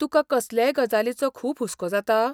तुका कसलेय गजालीचो खूब हुस्को जाता?